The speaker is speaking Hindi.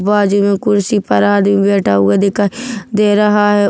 वाह जी में कुर्सी पर आदमी बैठा हुआ दिखाई दे रहा है।